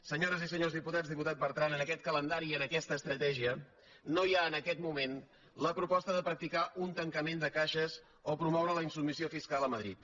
senyores i senyors diputats diputat bertran en aquest calendari i en aquesta estratègia no hi ha en aquest moment la proposta de practicar un tancament de caixes o promoure la insubmissió fiscal a madrid